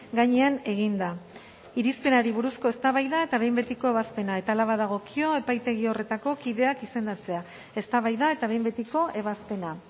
gainean eginda irizpenari buruzko eztabaida eta behin betiko ebazpena eta hala badagokio epaitegi horretako kideak izendatzea eztabaida eta behin betiko ebazpena